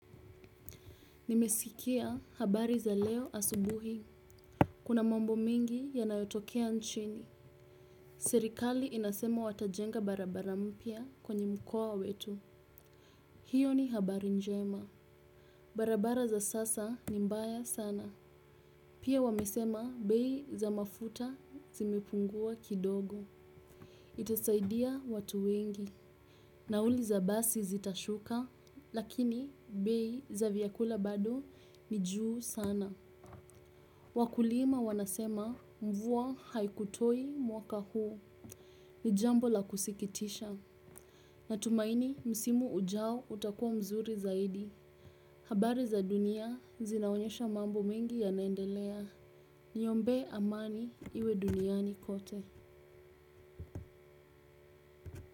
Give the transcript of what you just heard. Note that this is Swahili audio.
Nimesikia habari za leo asubuhi. Kuna mambo mengi yanayotokea nchini. Serikali inasema watajenga barabara mpya kwenye mkoa wetu. Hiyo ni habari njema. Barabara za sasa ni mbaya sana. Pia wamesema bei za mafuta zimepungua kidogo. Itasaidia watu wengi. Nauli za basi zitashuka lakini bei za vyakula bado ni juu sana. Wakulima wanasema mvua haikutoa mwaka huu. Ni jambo la kusikitisha. Natumaini msimu ujao utakuwa nzuri zaidi. Habari za dunia zinaonyesha mambo mengi yanaendelea. Niombe amani iwe duniani kote.